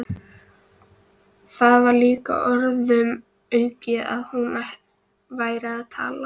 Það var líka orðum aukið að hún væri að tala.